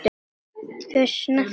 Þau snertu mig.